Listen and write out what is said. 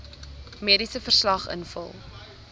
mediese verslag invul